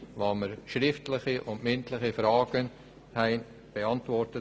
Uns wurden schriftliche und mündliche Fragen beantwortet.